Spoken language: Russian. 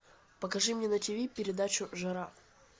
покажи мне на тиви передачу жара